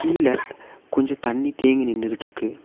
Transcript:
கீழ கொஞ்சோ தண்ணி தேங்கி நின்னுகிட்ருக்கு.